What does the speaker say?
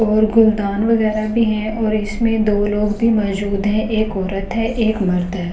और गुलदान वगैरह भी है और इसमें दो लोग भी मौजूद हैं एक औरत है एक मर्द है।